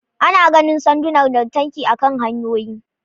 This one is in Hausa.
Ana ganin sandunan lantarki akan hanyoyi